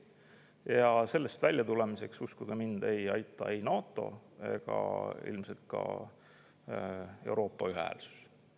Ja sellest väljatulemiseks, uskuge mind, ei aita ei NATO ega ilmselt ka Euroopa ühehäälsus.